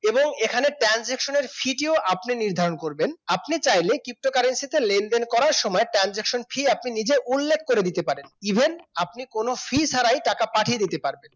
এখানে transaction fee আপনি নির্ধারণ করবেন আপনি চাইলে ptocurrency লেনদেন করার সময় transaction fee আপনি নিজে উল্লেখ করে দিতে পারেন। even আপনি কোন fee ছাড়াই টাকা পাঠিয়ে দিতে পারেন